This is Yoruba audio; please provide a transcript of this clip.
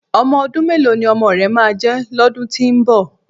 Ọmọ ọdún mélòó ni ọmọ rẹ máa jẹ́ lọ́dún tí ń bọ̀?